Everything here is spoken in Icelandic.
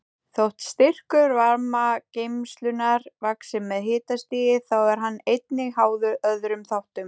Þótt styrkur varmageislunar vaxi með hitastigi þá er hann einnig háður öðrum þáttum.